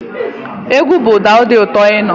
Egwu bu ụda di ụtó ịnụ.